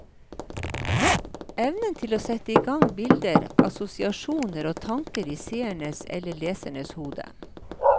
Evnen til å sette i gang bilder, assosiasjoner og tanker i seerens eller leserens hode.